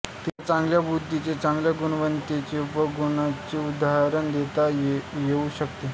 तिच्या चांगल्या बुद्धीचे चांगुलपणाचे व गुणांचे उदाहरण देता येऊ शकते